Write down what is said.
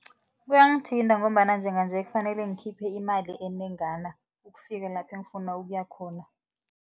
Kuyangithinta ngombana njenganje kufanele ukhiphe imali enengana ukufika lapha ngifuna ukuya khona.